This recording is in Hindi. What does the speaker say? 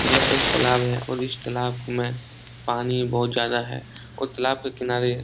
यह एक तालाब है और इस तालाब में पानी बहोत ज्यादा है और तालाब के किनारे --